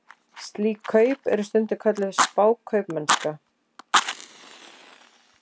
Slík kaup eru stundum kölluð spákaupmennska.